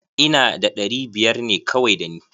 Ina da ɗari biyar ne kawai da ni.